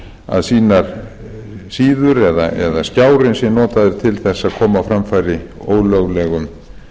að sínar síður eða skjárinn sé notaður til þess að koma á framfæri ólöglegum